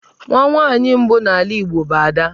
Nwa nwaanyị mbụ n'ala Igbo bụ 'Ada'.